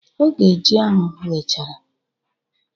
Oge ji ahụ ghechara